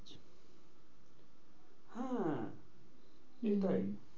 হ্যাঁ এটাই